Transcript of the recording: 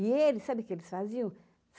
E eles, sabe o que eles faziam?